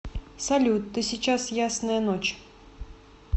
салют ты сейчас ясная ночь